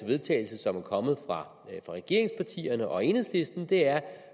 vedtagelse som er kommet fra regeringspartierne og enhedslisten er